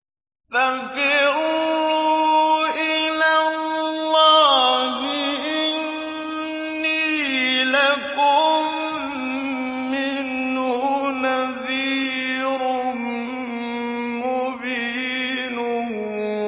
فَفِرُّوا إِلَى اللَّهِ ۖ إِنِّي لَكُم مِّنْهُ نَذِيرٌ مُّبِينٌ